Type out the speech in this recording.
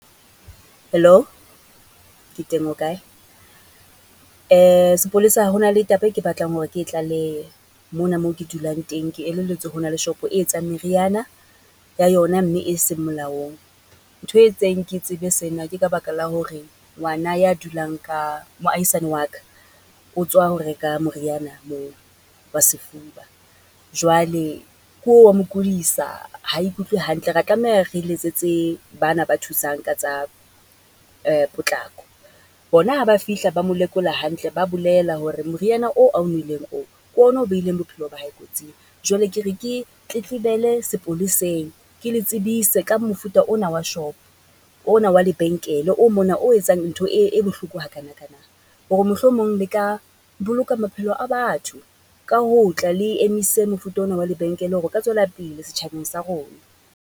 Hello ke teng o kae? Sepolesa ho na le taba e ke batlang hore ke e tlalehe mona moo ke dulang teng. Ke elelletswe ho na le shopo e etsang meriana ya yona mme eseng molaong. Ntho e entseng ke tsebe sena ke ka baka la hore ngwana ya dulang ka, moahisane wa ka, otswa ho reka moriana moo, wa sefuba. Jwale ke oo wa mo kudisa, ha ikutlwe hantle. Ra tlameha re letsetse ba na ba thusang ka tsa potlako. Bona ha ba fihla ba mo lekola hantle, ba bolela hore moriana oo ao nweleng oo, ke ona o behileng bophelo ba hae kotsing, jwale ke re ke tletlebele sepoleseng. Ke le tsebise ka mofuta ona wa shop-o, ona wa lebenkele o mona o etsang ntho e, e bohloko ha kana kana. Hore mohlomong le ka boloka maphelo a batho ka ho tla le emise mofuta ona wa lebenkele hore ka tswela pele setjhabeng sa rona.